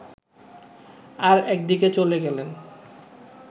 আর একদিকে চলে গেলেন